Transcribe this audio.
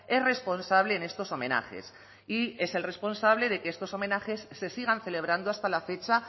es responsable en estos homenajes y es el responsable de que estos homenajes se sigan celebrando hasta la fecha